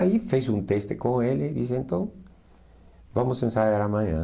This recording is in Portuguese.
Aí fiz um teste com ele e disse, então, vamos ensaiar amanhã.